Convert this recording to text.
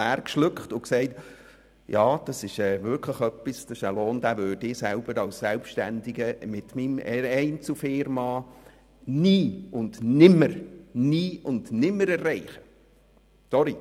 Ich schluckte leer und sagte, dass ich als Selbstständiger mit meiner Einzelfirma einen solchen Lohn nie und nimmer erreichen könnte.